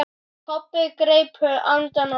Kobbi greip andann á lofti.